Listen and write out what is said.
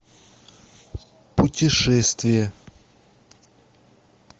путешествие